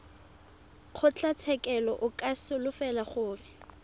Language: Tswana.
kgotlatshekelo o ka solofela gore